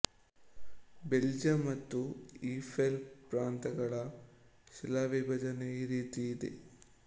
Belgium ಮತ್ತು ಈ ಫೆಲ್ ಪ್ರಾಂತಗಳ ಶಿಲಾವಿಭಜನೆ ಈ ರೀತಿ ಇದೆ